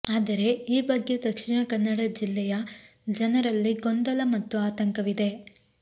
ಆದರೆ ಈ ಬಗ್ಗೆ ದಕ್ಷಿಣ ಕನ್ನಡ ಜಿಲ್ಲೆಯ ಜನರಲ್ಲಿ ಗೊಂದಲ ಮತ್ತು ಆತಂಕವಿದೆ